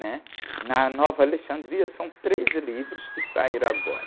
né? Na Nova Alexandria são três livros que saíram agora.